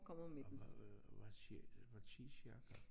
Og hvad tid hvad tid cirka?